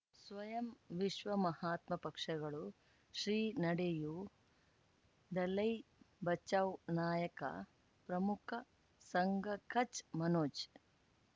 ಸ್ವಯಂ ವಿಶ್ವ ಮಹಾತ್ಮ ಪಕ್ಷಗಳು ಶ್ರೀ ನಡೆಯೂ ದಲೈ ಬಚೌ ನಾಯಕ ಪ್ರಮುಖ ಸಂಘ ಕಚ್ ಮನೋಜ್